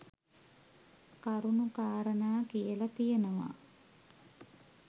කරුණු කාරණා කියලා තියෙනවා.